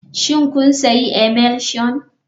Shin kun sayi emulsion.